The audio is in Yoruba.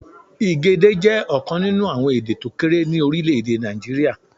Igede jẹ́ ọ̀kan nínú àwọn èdè tókéré ní Orílèdè Nàìjíríà